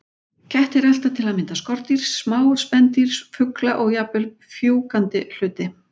Kettir elta til að mynda skordýr, smá spendýr, fugla og jafnvel fjúkandi hluti.